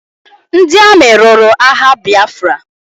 Ndị amị lụrụ agha Biafra